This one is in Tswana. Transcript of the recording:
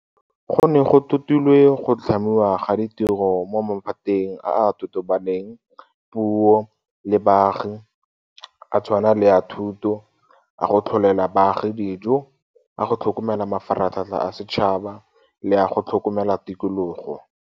Go ne go totilwe go tlhamiwa ga ditiro mo maphateng a a tobaneng poo le baagi a tshwana le a thuto, a go tlholela baagi dijo, a go tlhokomela mafaratlhatlha a setšhaba le a go tlhokomela tikologo.